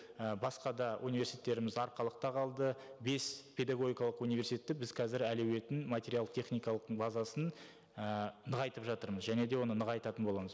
і басқа да университеттеріміз арқалықта қалды бес педагогикалық университетті біз қазір әлеуетін материалды техникалық базасын і нығайтып жатырмыз және де оны нығайтатын боламыз